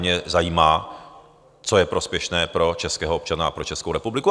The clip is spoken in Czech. Mě zajímá, co je prospěšné pro českého občana a pro Českou republiku.